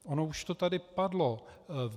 Ono už to tady padlo.